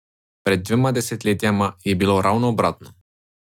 Pred dvema desetletjema je bilo ravno obratno.